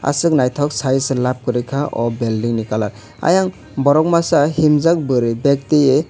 asok naitok sayoi se lab koroi ka o belding ni colour ayang borok masa himjak boroi beg toyoe.